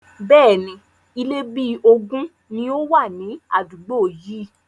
Bẹ́ẹ̀ni, Ilé bí ogún ni ó wà ní àdúgbò yii